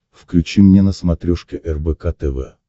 включи мне на смотрешке рбк тв